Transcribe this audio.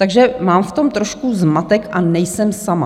Takže mám v tom prostě zmatek, a nejsem sama.